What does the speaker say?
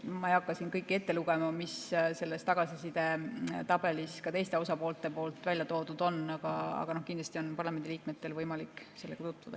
Ma ei hakka siin kõike ette lugema, mis selles tagasisidetabelis ka teised osapooled välja toonud on, aga kindlasti on parlamendiliikmetel võimalik sellega tutvuda.